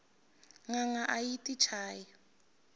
nanga ayi yti chayi